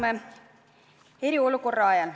Me elame eriolukorra ajal.